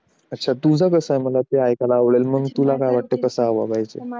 अच्छा तुझं कस मला ऐकायला आवडेल मग मी तुला काय वाटत ते